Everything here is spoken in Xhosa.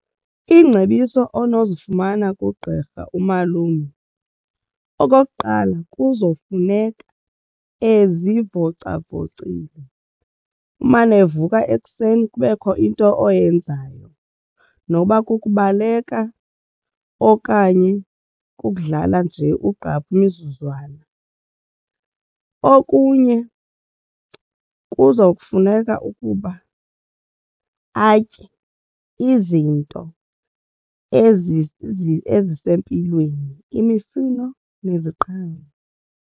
Iingcebiso onozifumana kugqirha umalume okokuqala kuzofuneka ezivocavocile umane evuka ekuseni kubekho into oyenzayo noba kukubaleka okanye kukudlala nje ugqaphu imizuzwana. Okunye kuzokufuneka ukuba atye izinto ezisempilweni imifuno neziqhamo.